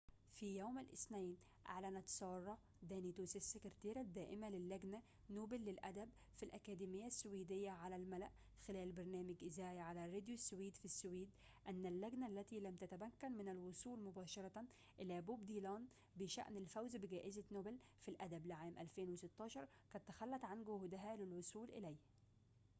في يوم الاثنين، أعلنت سارة دانيوس -السكرتيرة الدائمة للجنة نوبل للأدب في الأكاديمية السويدية- على الملأ خلال برنامج إذاعي على راديو السويد في السويد، أن اللجنة -التي لم تتمكن من الوصول مباشرة إلى بوب ديلان بشأن الفوز بجائزة نوبل في الأدب لعام 2016- قد تخلت عن جهودها للوصول إليه